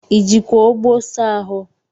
ị jikwa ogbo saa ahụ?